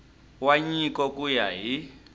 wa nyiko ku ya hi